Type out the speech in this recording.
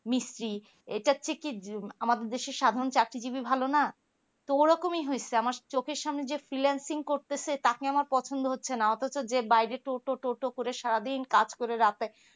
মিস্ত্রী এটা ঠিকই আমাদের দেশে সাধারণ চাকরিজীবী ভালো না তো ঐরকমই হয়েছে আমাদের চোখের সামনে যারা finalsingh করতেছে টাকা আমার পছন্দ হচ্ছে না অথচ যে বাইরে টোটো টোটো করে সারাদিন কাজ করে রাতে